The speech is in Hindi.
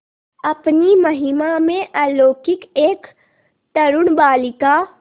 अपनी महिमा में अलौकिक एक तरूण बालिका